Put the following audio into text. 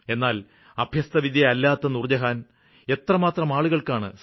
എന്നാല് അഭ്യസ്തവിദ്യയല്ലാത്ത നൂര്ജ്ജഹാന് എത്രമാത്രമാളുകള്ക്കാണ് സഹായമെത്തിക്കുന്നത്